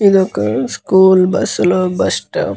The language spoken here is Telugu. ఇది ఒక స్కూల్ బస్సు లో బస్ స్టాప్ .